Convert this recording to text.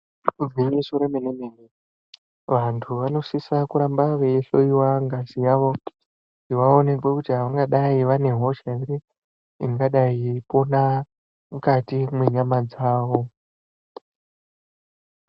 Igwinyiso remene mene, vantu vanosise kuramba veihloyiwa ngazi yavo kuti vaonekwe kuti avangadai vane hosha ere ingadai yeipona mukati mwenyama dzavo.